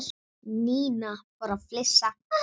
Nína fór að flissa.